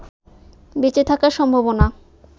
বেঁচে থাকার সম্ভাবনা